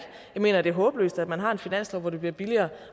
mener det er håbløst at man har en finanslov hvor det bliver billigere